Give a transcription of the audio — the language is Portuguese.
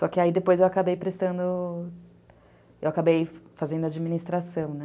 Só que aí depois eu acabei prestando, eu acabei fazendo administração, né?